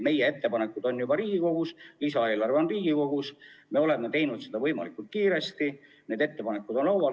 Meie ettepanekud on juba Riigikogus, lisaeelarve on Riigikogus, me oleme tegutsenud võimalikult kiiresti, ettepanekud on laual.